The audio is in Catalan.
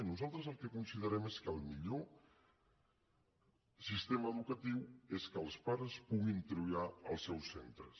nosaltres el que considerem és que el millor sistema educatiu és que els pares puguin triar els seus centres